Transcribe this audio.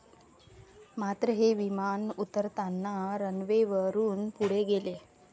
मात्र, हे विमान उतरताना रनवेवरून पुढे गेले.